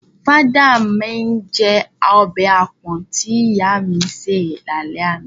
Father my jẹ ọbẹ̀ àpọ̀n tí ìyá mi ṣé è lálẹ́ àná.